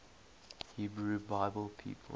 hebrew bible people